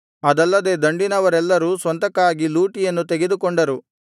ಅದಲ್ಲದೆ ದಂಡಿನವರೆಲ್ಲರೂ ಸ್ವಂತಕ್ಕಾಗಿ ಲೂಟಿಯನ್ನು ತೆಗೆದುಕೊಂಡರು